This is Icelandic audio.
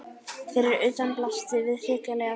Fyrir utan blasti við hrikaleg sjón.